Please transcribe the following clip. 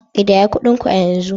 Kidaya kudin ku a yanzu